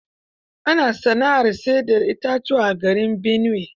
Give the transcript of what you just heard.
Ana sana'ar sai da itatuwa garin Binuwe.